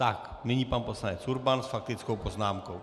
Tak, nyní pan poslanec Urban s faktickou poznámkou.